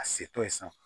A setɔ ye sa